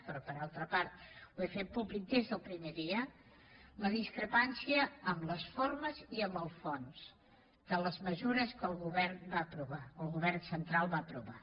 però per altra part ho he fet públic des del primer dia la discrepància amb les formes i amb el fons de les mesures que el govern central va aprovar